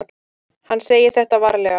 Hann segir þetta varlega.